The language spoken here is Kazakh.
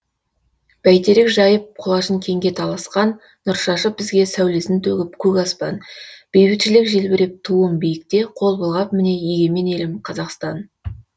бәйтерек жайып құлашың кеңге таласқан нұршашып бізге сәулесін төгіп көк аспан бейбітшілік желбіреп туым биікте қол бұлғап міне егемен елім қазақстан